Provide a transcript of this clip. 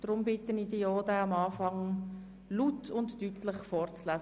Deshalb bitte ich Grossrat Haas, diesen am Anfang laut und deutlich vorzulesen.